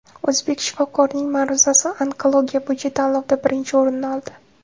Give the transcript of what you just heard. O‘zbek shifokorining ma’ruzasi onkologiya bo‘yicha tanlovda birinchi o‘rinni oldi.